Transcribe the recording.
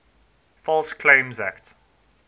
false claims act